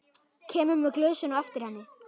Kemur með glösin á eftir henni.